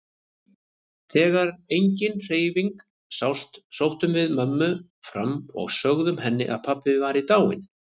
Þegar engin hreyfing sást sóttum við mömmu fram og sögðum henni að pabbi væri dáinn.